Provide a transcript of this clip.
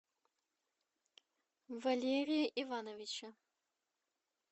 валерия ивановича